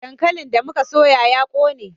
Dankalin da mu ka soya ya ƙone